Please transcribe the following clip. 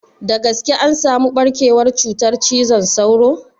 Da gaske an samu ɓarkewar cutar cizon sauro?